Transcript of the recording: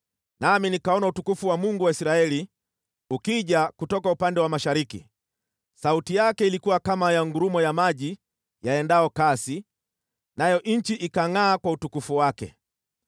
nami nikaona utukufu wa Mungu wa Israeli ukija kutoka upande wa mashariki. Sauti yake ilikuwa kama ya ngurumo ya maji yaendayo kasi, nayo nchi ikangʼaa kwa utukufu wake.